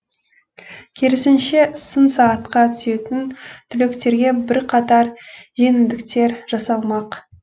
керісінше сын сағатқа түсетін түлектерге бірқатар жеңілдіктер жасалмақ